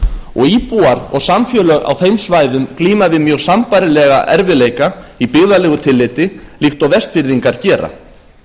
og íbúar og samfélög á þeim svæðum glíma við mjög sambærilega erfiðleika í byggðalegu tilliti líkt og vestfirðingar gera það